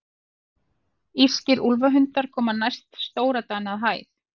Írskir úlfhundar koma næst stórdana að hæð.